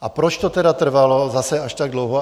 A proč to tedy trvalo zase až tak dlouho?